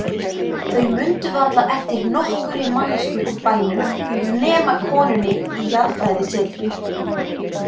Þau mundu varla eftir nokkurri manneskju úr bænum nema konunni í jarðfræðisetrinu.